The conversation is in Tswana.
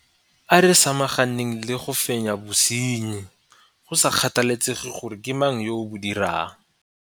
A re samaganeng le go fenya bosenyi, go sa kgathalesege gore ke mang yo o bo dirang.